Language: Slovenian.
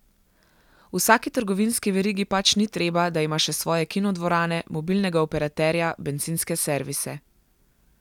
Vsaki trgovinski verigi pač ni treba, da ima še svoje kinodvorane, mobilnega operaterja, bencinske servise.